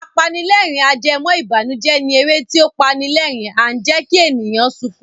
Apanilẹ́rìn-ajẹmọ́ìbànùjẹ́ ni eré tí ó pani lerin and jẹ́kí èèyàn sunkún